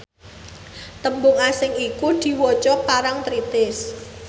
tembung asing iku diwaca parangtritis